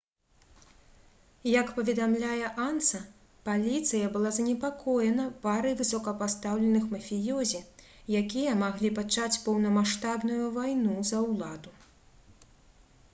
як паведамляе ansa «паліцыя была занепакоена парай высокапастаўленых мафіёзі якія маглі пачаць поўнамаштабную вайну за ўладу»